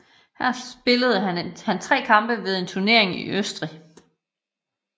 Her spillede han 3 kampe ved en turnering i Østrig